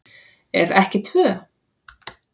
Ef ekki tvö.